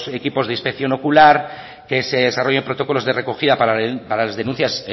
equipos de inspección ocular que se desarrollen protocolos de recogida para las denuncias